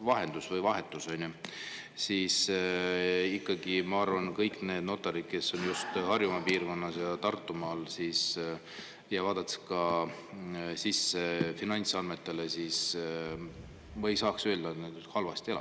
või vahetus, siis ei saa öelda, et kõik need notarid, kes töötavad just Harjumaal või Tartumaal – seda võib ka, vaadates nende finantsandmeid –, elavad halvasti.